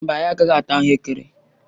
Mba, anyị agaghị ata ahuekere.